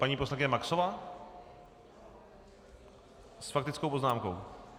Paní poslankyně Maxová s faktickou poznámkou.